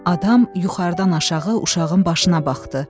Adam yuxarıdan aşağı uşağın başına baxdı.